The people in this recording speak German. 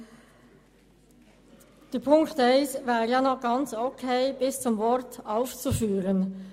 Die erste Ziffer wäre eigentlich in Ordnung bis zum Wort «aufzuführen».